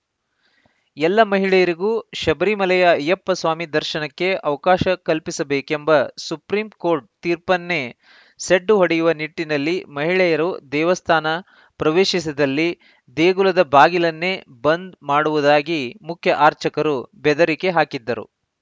ಎಲ್ಲ ಮಹಿಳೆಯರಿಗೂ ಶಬರಿಮಲೆಯ ಅಯ್ಯಪ್ಪ ಸ್ವಾಮಿ ದರ್ಶನಕ್ಕೆ ಅವಕಾಶ ಕಲ್ಪಿಸಬೇಕೆಂಬ ಸುಪ್ರೀಂ ಕೋರ್ಟ್‌ ತೀರ್ಪನ್ನೇ ಸೆಡ್ಡು ಹೊಡೆಯುವ ನಿಟ್ಟಿನಲ್ಲಿ ಮಹಿಳೆಯರು ದೇವಸ್ಥಾನ ಪ್ರವೇಶಿಸಿದಲ್ಲಿ ದೇಗುಲದ ಬಾಗಿಲನ್ನೇ ಬಂದ್‌ ಮಾಡುವುದಾಗಿ ಮುಖ್ಯ ಆರ್ಚಕರು ಬೆದರಿಕೆ ಹಾಕಿದ್ದರು